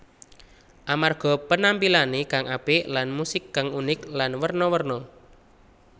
Amarga penampilané kang apik lan musik kang unik lan werna werna